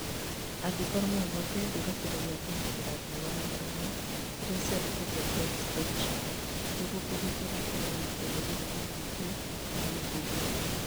Angĩkorwo no kũhoteke thura kĩndũ gĩa kũgitĩra riũa na mĩromo irĩa ciandĩkĩtwo "braod spectrum" nĩguo kwĩgitĩra kumana na ũtheri wa UVA na UVB